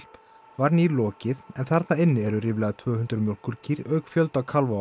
var nýlokið en þar inni eru ríflega tvö hundruð mjólkurkýr auk fjölda kálfa og